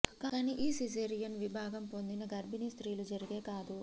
కానీ ఈ సిజేరియన్ విభాగం పొందిన గర్భిణీ స్త్రీలు జరిగే కాదు